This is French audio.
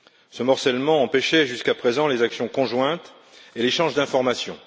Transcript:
Ce morcellement empêchait jusqu'à présent les actions conjointes et l'échange d'informations.